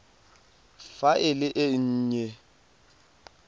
fa e le e nnye